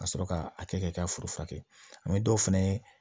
Ka sɔrɔ ka a kɛ ka foro furakɛ dɔw fɛnɛ ye